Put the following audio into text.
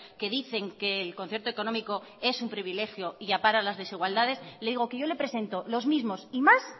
que dicen que el concierto económico es un privilegio y ampara las desigualdades le digo que yo le presento los mismos y más